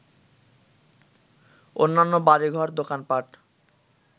অন্যান্য বাড়িঘর, দোকানপাট